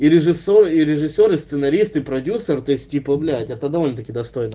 и режиссёр и режиссёр и сценарист и продюсер то есть типа блять это довольно-таки достойно